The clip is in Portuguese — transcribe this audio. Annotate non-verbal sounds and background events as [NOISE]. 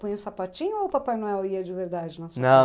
Põe o sapatinho ou o Papai Noel ia de verdade na sua [UNINTELLIGIBLE]